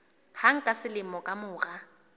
hang ka selemo ka mora